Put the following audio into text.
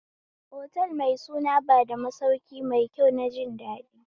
Otal mai suna bada masauki maikyau na jindaɗi